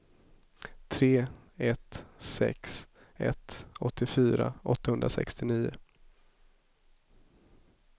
tre ett sex ett åttiofyra åttahundrasextionio